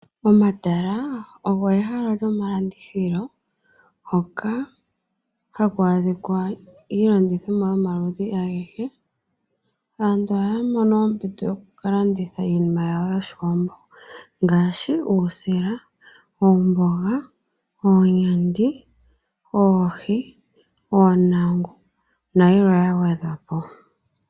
Omatala ogo ehala lyo malandithilo hoka haku adhikwa iilandithomwa yoma ludhi agethe. Aantu oha yamono ompito yo kukalanditha iinima yawo yoshiwambo, ngaashi uusila, oomboga, oonyandi, oohi, oonangu nayilwe yagwedhwapo.